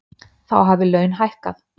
Þá hafi laun hækkað.